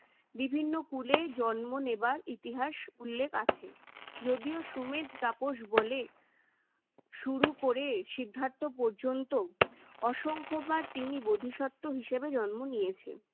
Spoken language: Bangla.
বিভিন্ন কূলে জন্ম নেবার ইতিহাস উল্লেখ আছে। যদিও সুমেধ তাপস বলে শুরু করে সিদ্ধার্থ পর্যন্ত অসংখ্যবার তিনি বোধিসত্ত্ব হিসেবে জন্ম নিয়েছেন।